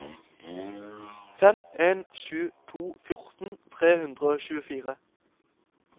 fem en sju to fjorten tre hundre og tjuefire